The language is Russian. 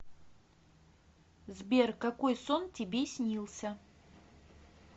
сбер какой сон тебе снился